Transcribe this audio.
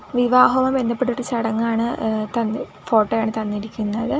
വിവാഹവുമായി ബന്ധപ്പെട്ടിട്ട് ചടങ്ങാണ് ഏഹ് തന്ന് ഫോട്ടോയാണ് തന്നിരിക്കുന്നത്.